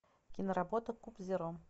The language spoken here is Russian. киноработа куб зеро